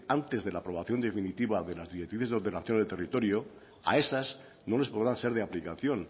antes de la aprobación definitiva de las directrices de ordenación del territorio a esas no les podrán ser de aplicación